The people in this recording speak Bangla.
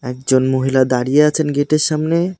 একজন মহিলা দাঁড়িয়ে আছেন গেট -এর সামনে।